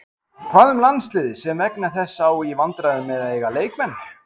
Hvað um landsliðið sem vegna þess á í vandræðum með að eiga leikmenn?